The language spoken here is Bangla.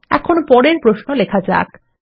এখন পরের প্রশ্ন লেখা যাক